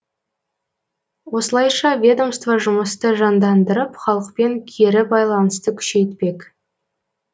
осылайша ведомство жұмысты жандандырып халықпен кері байланысты күшейтпек